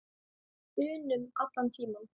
unum allan tímann.